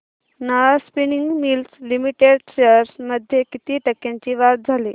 Nahar spinning mills limited shares मध्ये किती टक्क्यांची वाढ झाली